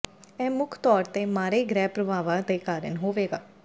ਇਹ ਮੁੱਖ ਤੌਰ ਤੇ ਮਾੜੇ ਗ੍ਰਹਿ ਪ੍ਰਭਾਵਾਂ ਦੇ ਕਾਰਨ ਹੋਵੇਗਾ